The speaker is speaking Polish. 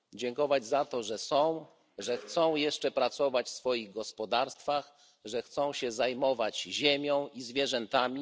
Dziękować za to, że są, że chcą jeszcze pracować w swoich gospodarstwach, że chcą się zajmować ziemią i zwierzętami.